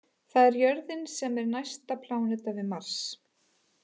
Það er jörðin sem er næsta pláneta við Mars.